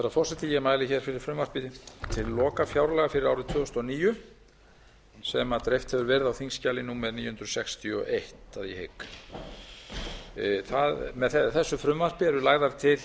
herra forseti ég mæli hér fyrir frumvarpi til lokafjárlaga fyrir árið tvö þúsund og níu sem dreift hefur verið á þingskjali númer níu hundruð sextíu og eitt að ég hygg með þessu frumvarpi eru lagðar til